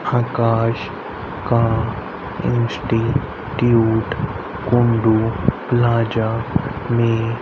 आकाश का institute Kundu plaza में --